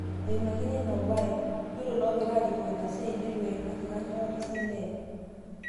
eimakini ino bae, yiolo iloong'ira arikoo ina siai neitu eimaki kanyoo oltasat Leen..